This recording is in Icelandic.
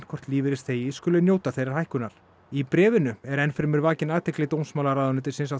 hvort lífeyrisþegi skuli njóta þeirrar hækkunar í bréfinu er enn fremur vakin athygli dómsmálaráðuneytisins á